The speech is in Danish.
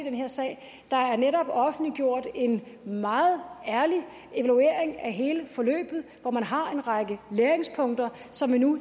i den her sag der er netop offentliggjort en meget ærlig evaluering af hele forløbet hvor man har en række læringspunkter som man nu